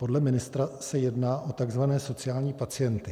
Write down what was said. Podle ministra se jedná o tzv. sociální pacienty.